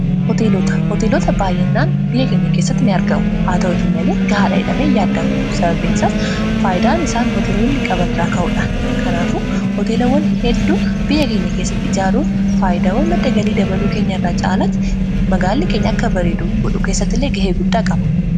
hooteelota baayinnaan biyya keenya keessatti in argamu haa ta'uti malee gahaadha jedhame hin yaadamu sababiin isaas faayidaan isaan hooteelooni qaban irraa ka'uudhaan kanaafu hoteelawwan hedduu biyya keenya keessatti ijaaruun faayidaawwan madda galii dabaluu keenya irraa caalaatti magaalli keenya akka bareedu godhu keessatti ilee gahee guddaa qaba